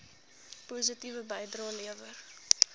positiewe bydrae lewer